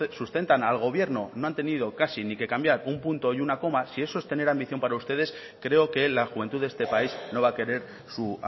sustentan al gobierno no han tenido casi ni que cambiar un punto y una coma si eso es tener ambición para ustedes creo que la juventud de este país no va a querer su